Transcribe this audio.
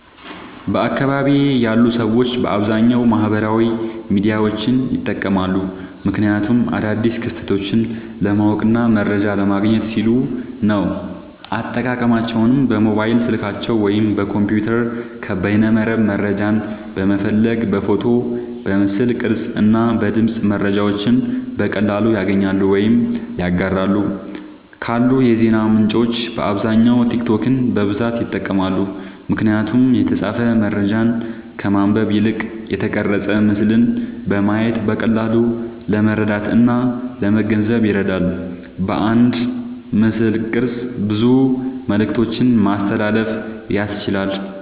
በአካባቢየ ያሉ ሰዎች በአብዛኛዉ ማህበራዊ ሚዲያዎችን ይጠቀማሉ። ምክንያቱም አዳዲስ ክስተቶችን ለማወቅና መረጃ ለማግኘት ሲሉ ነዉ። አጠቃቀማቸዉም በሞባይል ስልካቸዉ ወይም በኮምፒዉተር ከበይነመረብ መረጃን በመፈለግ በፎቶ፣ በምስል ቅርጽ እና በድምጽ መረጃዎችን በቀላሉ ያገኛሉ ወይም ያጋራሉ። ካሉ የዜና ምንጮች በአብዛኛዉ ቲክቶክን በብዛት ይጠቀማሉ። ምክንያቱም የተጻፈ መረጃን ከማንበብ ይልቅ የተቀረጸ ምስልን በማየት በቀላሉ ለመረዳትእና ለመገንዘብ ይረዳል። በአንድ ምስልቅርጽ ብዙ መልክቶችን ማስተላለፍ ያስችላል።